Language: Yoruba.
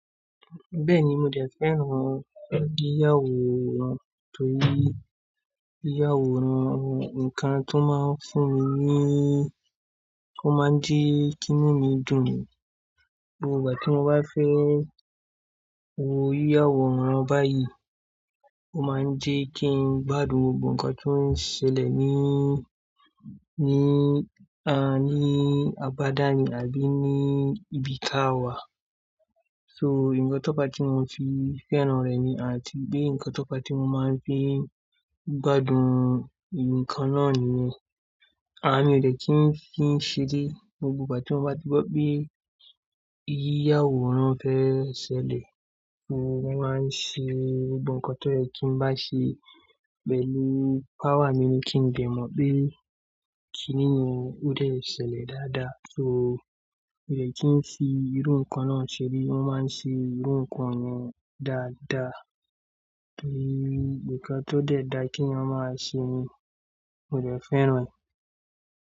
Bẹ́ẹ̀ni, mo dẹ̀ fẹ́ran yíyàwòrán torí yíyàwòrán, ǹkan tó máa ń fún mi níí, ó máa ń jí kí inu dùn ní gbogbo ìgbà tí mo bá fẹ́. O yíyàwòrán báyìí, ó máa ń jẹ́ kí n gbádùn gbogbo ohun kan tó ń ṣẹlẹ̀ níí, níí, a níí, abada mi àbí ní ibi ká wà. So, ǹkan tó pa tí mo fi fẹ́ran rẹ̀ ni àti bí ǹkan tó pa tí mo máa ń fi gbádùn ǹkan náà nìyẹn. A mi ò dẹ̀ kí n fi ń ṣe dé ní gbogbo ìgbà tí mo bá ti gbọ́ bí yíyàwòrán fe ṣẹlẹ̀, mo máa ń ṣe gbogbo ohun kan tọ́ ye kí ń bá ṣe pẹ̀lú power mi ní kí n lè mọ̀ pé kíní o dẹ̀ ṣẹlẹ̀ dáadáa. So, mì oo dẹ̀ kí ń fi irú ǹkan náà ṣe ré, wọ́n máa ń ṣe irú ǹkan náà dáadáa torí ǹkan tó dẹ̀ dáa kí eeyan máa ṣe ni. Mo dẹ̀ fẹ́ran rẹ̀.